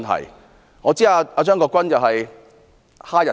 以我所知，張國鈞議員是哈日族。